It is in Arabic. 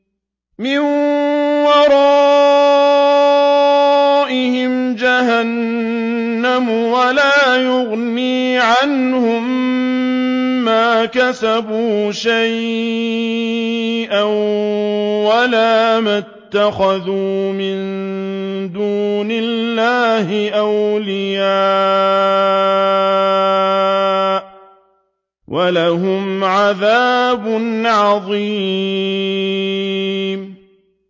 مِّن وَرَائِهِمْ جَهَنَّمُ ۖ وَلَا يُغْنِي عَنْهُم مَّا كَسَبُوا شَيْئًا وَلَا مَا اتَّخَذُوا مِن دُونِ اللَّهِ أَوْلِيَاءَ ۖ وَلَهُمْ عَذَابٌ عَظِيمٌ